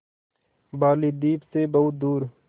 बालीद्वीप सें बहुत दूर